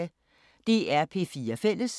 DR P4 Fælles